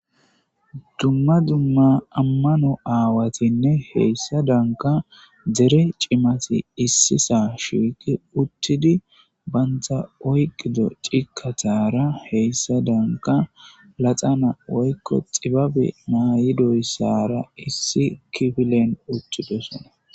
Dumma dumma amano awatine hesadanka dere cimat issisan shiq utida banta oykida cikatara heysadanka qaseka laxana woyko xibabe mayidoysara issi kifilen utidosona .